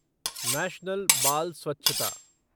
national बाल स्वच्छता